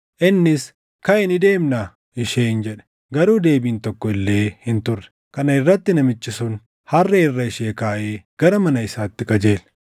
Innis, “Kaʼi ni deemnaa” isheen jedhe. Garuu deebiin tokko illee hin turre. Kana irratti namichi sun harree irra ishee kaaʼee gara mana isaatti qajeele.